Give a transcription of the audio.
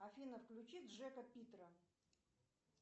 афина включи джека питера